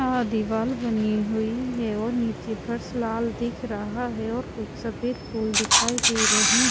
अ दीवाल बनी हुई है और नीचे फर्श लाल दिख रहा है और कुछ सफेद फूल दिखाई दे रही--